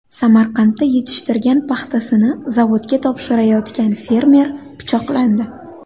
Samarqandda yetishtirgan paxtasini zavodga topshirayotgan fermer pichoqlandi .